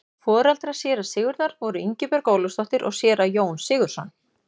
foreldrar séra sigurðar voru ingibjörg ólafsdóttir og séra jón sigurðsson